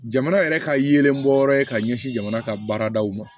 Jamana yɛrɛ ka yeelen bɔ yɔrɔ ye ka ɲɛsin jamana ka baaradaw ma